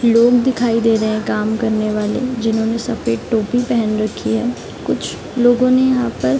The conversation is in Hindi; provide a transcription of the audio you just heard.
लोग दिखाई दे रहे हैं काम करने वाले जिन्होंने सफ़ेद टोपी पेहेन रखी हैं कुछ लोगों ने यहाँ पर --